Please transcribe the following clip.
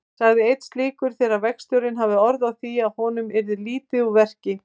sagði einn slíkur þegar verkstjórinn hafði orð á því að honum yrði lítið úr verki.